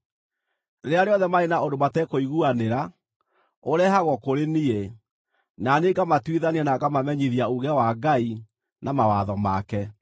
Rĩrĩa rĩothe marĩ na ũndũ matekũiguanĩra, ũrehagwo kũrĩ niĩ, na niĩ ngamatuithania na ngamamenyithia uuge wa Ngai na mawatho make.”